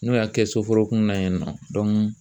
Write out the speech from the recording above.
N'o y'a kɛ soforokun na yen nɔ